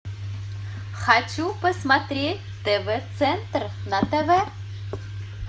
хочу посмотреть тв центр на тв